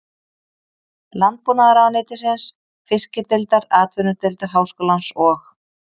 Landbúnaðarráðuneytisins, Fiskideildar Atvinnudeildar Háskólans og